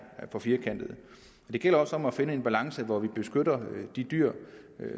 for firkantet det gælder også om at finde en balance hvor vi beskytter de dyr